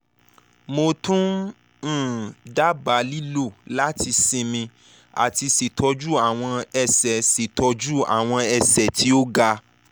mo tun um daba lilo lati sinmi ati ṣetọju awọn ẹsẹ ṣetọju awọn ẹsẹ ti o ga